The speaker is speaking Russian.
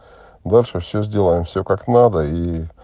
ваша все сделаем все как надо ии